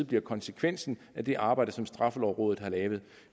bliver konsekvensen af det arbejde som straffelovrådet har lavet